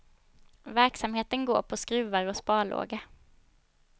Verksamheten går på skruvar och sparlåga.